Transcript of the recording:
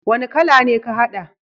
Wani kala ne ka hada?